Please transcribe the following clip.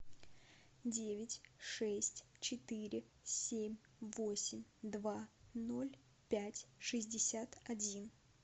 девять шесть четыре семь восемь два ноль пять шестьдесят один